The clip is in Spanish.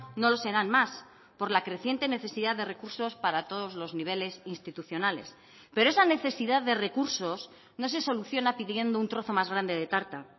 no lo serán más por la creciente necesidad de recursos para todos los niveles institucionales pero esa necesidad de recursos no se soluciona pidiendo un trozo más grande de tarta